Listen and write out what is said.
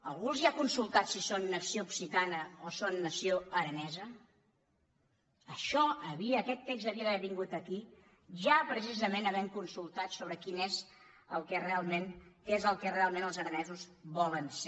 algú els ha con·sultat si són nació occitana o són nació aranesa això aquest text hauria d’haver vingut aquí ja precisament havent consultat sobre què és el que realment els ara·nesos volen ser